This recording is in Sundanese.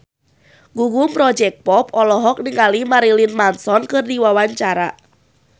Gugum Project Pop olohok ningali Marilyn Manson keur diwawancara